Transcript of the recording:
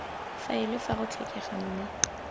faele fa go tlhokega mme